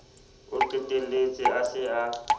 o qetelletse a se a